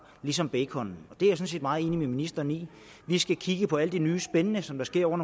ligesom bacon det er jeg sådan set meget enig med ministeren i vi skal kigge på alt det nye spændende som der sker